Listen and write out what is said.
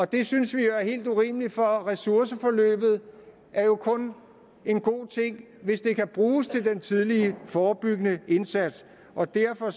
det synes vi er helt urimeligt for ressourceforløbet er jo kun en god ting hvis det kan bruges til den tidlige forebyggende indsats og derfor